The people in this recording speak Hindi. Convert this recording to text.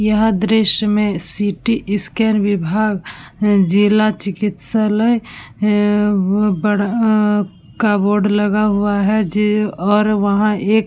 यह दृश्य में सिटीस्कैन विभाग जिला चिकित्सालय अ बड़ा का बोर्ड लगा है जे और वहाँ एक --